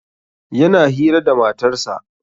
Yana hira da matarsa